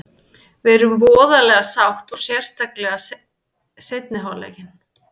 Við erum voðalega sátt og sérstaklega seinni hálfleikinn.